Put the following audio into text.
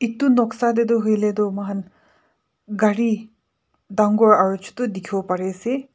edu noksa taetu hoilae mohan gari dangor aro chutu dikhiwo parease.